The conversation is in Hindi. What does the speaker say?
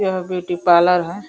यह ब्यूटी पार्लर है।